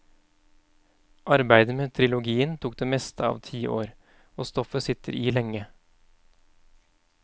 Arbeidet med trilogien tok det meste av ti år, og stoffet sitter i lenge.